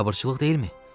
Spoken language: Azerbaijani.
Biabırçılıq deyilmi?